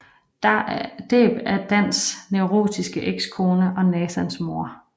Deb er Dans neurotiske ekskone og Nathans mor